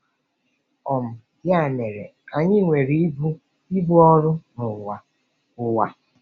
um Ya mere, anyị nwere ibu ibu ọrụ n'ụwa ụwa.